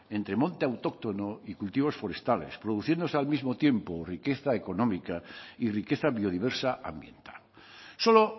entre monte autóctono y cultivos forestales produciéndose al mismo tiempo riqueza económica y riqueza biodiversa ambiental solo